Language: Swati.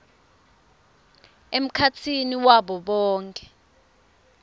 emkhatsini wabo bonkhe